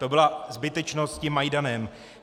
To byla zbytečnost s tím Majdanem.